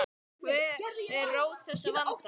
Hver er rót þessa vanda?